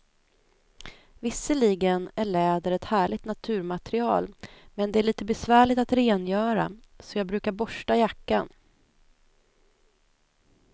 Visserligen är läder ett härligt naturmaterial, men det är lite besvärligt att rengöra, så jag brukar borsta jackan.